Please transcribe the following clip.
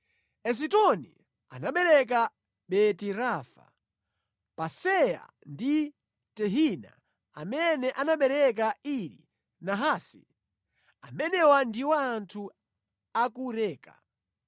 Esitoni anabereka Beti-Rafa, Paseya ndi Tehina amene anabereka Iri Nahasi. Amenewa ndiwo anthu a ku Reka.